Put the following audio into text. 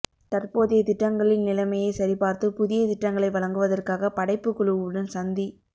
தற்போதைய திட்டங்களில் நிலைமையை சரிபார்த்து புதிய திட்டங்களை வழங்குவதற்காக படைப்பு குழுவுடன் சந்தி